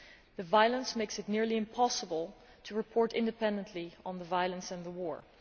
The violence makes it nearly impossible to report independently on the violence and the war.